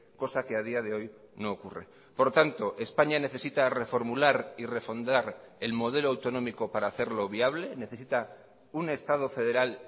cosa que a día de hoy no ocurre por tanto españa necesita reformular y refondar el modelo autonómico para hacerlo viable necesita un estado federal